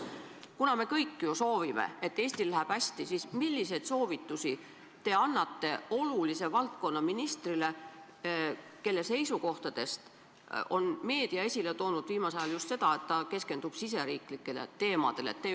Kuna me kõik soovime, et Eestil läheks hästi, siis milliseid soovitusi te annate olulise valdkonna ministrile, kelle seisukohtadest on meedia viimasel ajal esile toonud just seda, et ta keskendub riigisisestele teemadele?